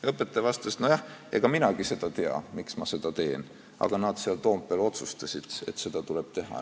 " Õpetaja vastas: "Nojah, ega minagi seda tea, miks ma seda teen, aga nad seal Toompeal otsustasid, et seda tuleb teha.